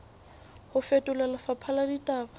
ho fetola lefapha la ditaba